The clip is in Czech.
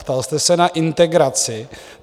Ptal jste se na integraci.